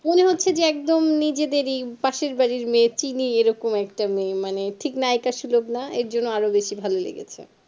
মনে হচ্ছে যে একদম নিজেদেরই পাশের বাড়িরই মেয়ে চিনি এরকম একটা মেয়ে মানে ঠিক নায়েক সলভ না এর জন্য আরও বেশি ভালো লেগেছে